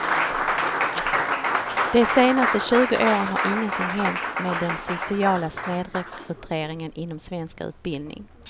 De senaste tjugo åren har ingenting hänt med den sociala snedrekryteringen inom svensk utbildning.